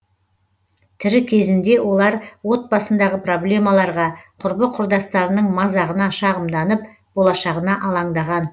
тірі кезінде олар отбасындағы проблемаларға құрбы құрдастарының мазағына шағымданып болашағына алаңдаған